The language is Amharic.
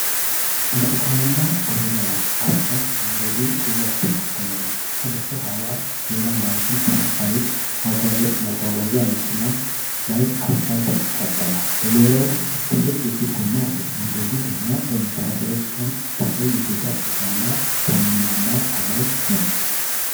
ብርቱካናማ ሮለር አስፋልት መንገድን እያስተካከለ ነው። ከበስተኋላ ሌላ ማሽን ከአስፋልት ማጓጓዣ መኪና ላይ አስፋልት ይቀበላል። ሮለሩ ትልቅ የፊት ጎማ አለው። መንገዱ ገና በመሰራት ላይ ሲሆን፣ ዳራው የገጠር ስፍራና ደመናማ ሰማይ ነው።